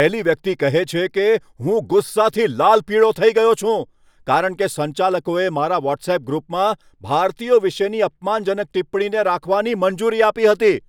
પહેલી વ્યક્તિ કહે છે કે, હું ગુસ્સાથી લાલપીળો થઈ ગયો છું, કારણ કે સંચાલકોએ મારા વ્હોટ્સઅપ ગ્રુપમાં ભારતીયો વિશેની અપમાનજનક ટિપ્પણીને રાખવાની મંજૂરી આપી હતી.